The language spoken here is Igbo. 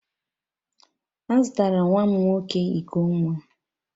A zụtara nwa m nwoke iko nwa